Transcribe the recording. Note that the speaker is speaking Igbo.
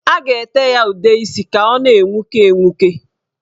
A ga-ete ya udeisi ka ọ na-enwuke enwuke.